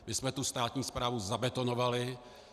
My jsme tu státní správu zabetonovali.